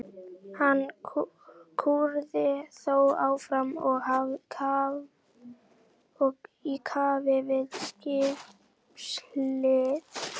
Hann kúrði þó áfram í kafi við skipshlið.